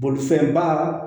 Bolifɛnba